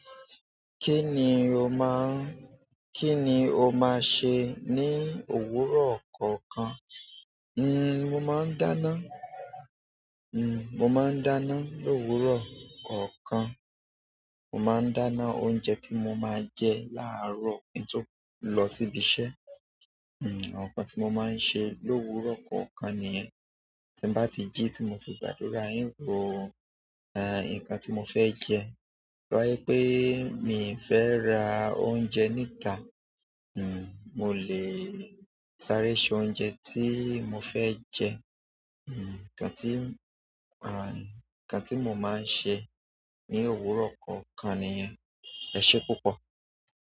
Kí ni o máa, kí ni o máa sẹ ní òwúrọ̀ kọ̀ọ̀kan? Nnn mo máa ń dáná, nnn mo máa ń dáná lówúrọ̀ kọ̀ọ̀kan. Mo máa ń dáná oúnjẹ tí mo máa jẹ láàárọ̀ kí n tó lọ síbi iṣẹ́. Àwọn nkán tí mo máa ń ṣe lówúrọ̀ kọ̀ọ̀kan nìyẹn. Ti mba ti ji, ti nti gbàdúrà, n po nkan to mo fe je tọ jẹ pé mi fẹ́ ra oúnjẹ níta, nnn mo le sáré se oúnjẹ tí mo fẹ́ jẹ. Nnn nǹkan tí, ah nǹkan tí mo máa ń se ní òwúrọ̀ kọ̀ọ̀kan nìyẹn. Ẹ ṣé púpọ̀.